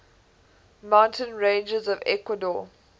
mountain ranges of ecuador